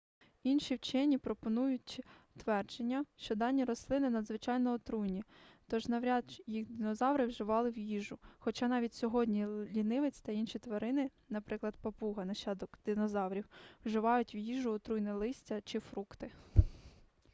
інші вчені пропонують твердження що дані рослини надзвичайно отруйні тож навряд їх динозаври вживали в їжу хоча навіть сьогодні лінивець та інші тварини наприклад папуга нащадок динозаврів вживають в їжу отруйне листя чи фрукти